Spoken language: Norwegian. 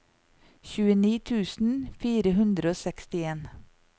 tjueni tusen fire hundre og sekstien